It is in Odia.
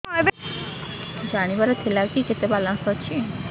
ଜାଣିବାର ଥିଲା କି କେତେ ବାଲାନ୍ସ ଅଛି